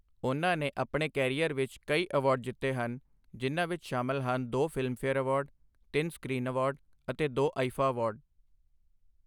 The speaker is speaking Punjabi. ਉਨ੍ਹਾਂ ਨੇ ਆਪਣੇ ਕੈਰੀਅਰ ਵਿੱਚ ਕਈ ਅਵਾਰਡ ਜਿੱਤੇ ਹਨ, ਜਿਨ੍ਹਾਂ ਵਿੱਚ ਸ਼ਮਿਲ ਹਨ ਦੋ ਫਿਲਮਫੇਅਰ ਅਵਾਰਡ, ਤਿੰਨ ਸਕ੍ਰੀਨ ਅਵਾਰਡ ਅਤੇ ਦੋ ਆਈ.ਫਾ ਅਵਾਰਡ।